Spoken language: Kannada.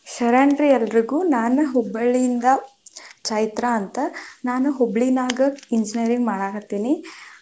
ಶರಣ್ ರೀ ಎಲ್ಲರಿಗೂ, ನಾನ ಹುಬ್ಬಳ್ಳಿಯಿಂದ ಚೈತ್ರಾ ಅಂತ, ನಾನು ಹುಬ್ಳಿನಾಗ engineering ಮಾಡಾಕತೇನಿ.